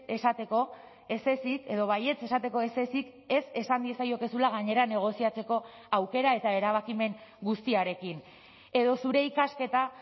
esateko ez ezik edo baietz esateko ez ezik ez esan diezaiokezula gainera negoziatzeko aukera eta erabakimen guztiarekin edo zure ikasketa